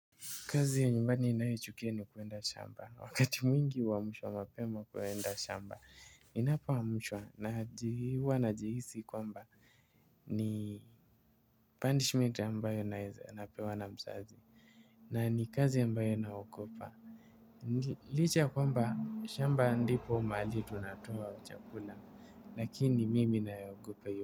Kazi ya nyumbani ninayoichukia ni kuenda shamba. Wakati mwingi huamshwa mapema kuenda shamba, ninapoamshwa huwa najihisi kwamba ni punishment ambayo napewa na msazi. Na ni kazi ambayo naokopa. Licha kwamba shamba ndipo mahali tunatoa chakula, lakini mimi naogopa hiyo.